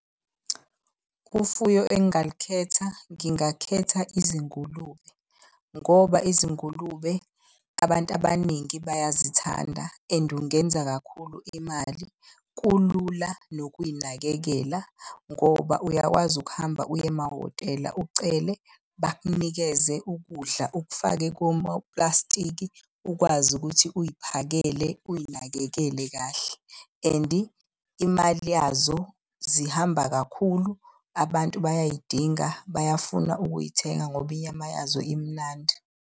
Ufuyo engingalukhetha ngingakhetha izingulube ngoba izingulube abantu abaningi bayazithanda and ungenza kakhulu imali. Kulula nokuy'nakekela ngoba uyakwazi ukuhamba uye emahhotela ucele bakunikeze ukudla ukufake komaplastiki ukwazi ukuthi uy'phakele uy'nakekele kahle. And imali yazo zihamba kakhulu, abantu bayay'dinga bayafuna ukuy'thenga ngoba inyama yazo imnandi.